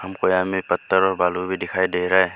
हमको यहां में पत्थर और बालू भी दिखाई दे रहा है।